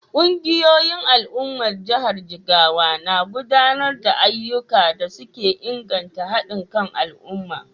Kungiyoyin al’ummar jihar Jigawa na gudanar da ayyukan da suke inganta hadin kan al’umma.